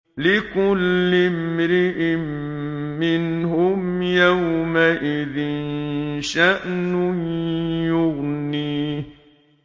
لِكُلِّ امْرِئٍ مِّنْهُمْ يَوْمَئِذٍ شَأْنٌ يُغْنِيهِ